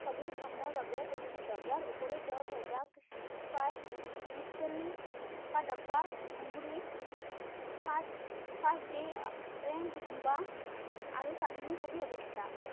ছবিসমূহৰ বাবে পৰিচিত, ইয়াৰ উপৰিও তেওঁ হেজাব স্পাই মিষ্টেনলি কা ডাব্বা, উমৰি, first first gay বা আৰু কামিনি ছবিৰ অভিনেতা।